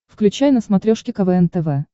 включай на смотрешке квн тв